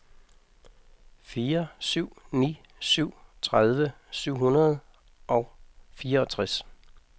fire syv ni syv tredive syv hundrede og fireogtres